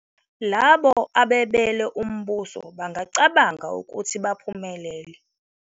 Labo abebele umbuso bangacabanga ukuthi baphumelele.